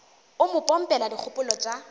o mo pompela dikgopolo tša